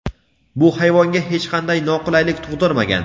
bu hayvonga hech qanday noqulaylik tug‘dirmagan.